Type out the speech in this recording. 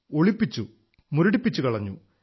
ഒളിപ്പിച്ചു മുരടിപ്പിച്ചു കളഞ്ഞു